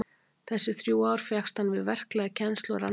Þessi þrjú ár fékkst hann við verklega kennslu og rannsóknir.